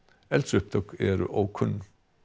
eldsupptök eru ókunn